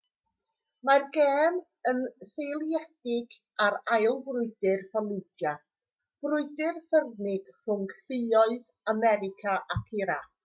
mae'r gêm yn seiliedig ar ail frwydr fallujah brwydr ffyrnig rhwng lluoedd america ac irac